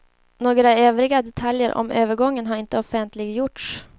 Några övriga detaljer om övergången har inte offentliggjorts.